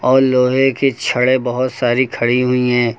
और लोहे की छड़े बहोत सारी खड़ी हुई हैं।